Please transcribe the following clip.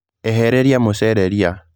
Ehereria mũcere rĩĩa.